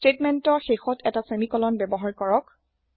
স্টেতমেন্তৰ শেষত এটা সেমিকলন ব্যৱহাৰ কৰক